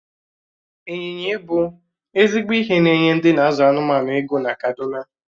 Ị́nyinya ibu ezigbo ihe na-enye ndị n'azụ anụmanụ ego na kaduna